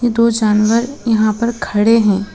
दो जानवर यहां पर खड़े हैं।